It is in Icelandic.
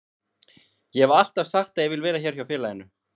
Ég hef alltaf sagt að ég vil vera hér hjá félaginu.